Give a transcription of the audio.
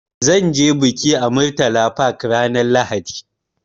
Zan ce bikin a Murtala Park ranar Lahadi.